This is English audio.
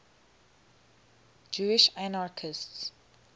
jewish anarchists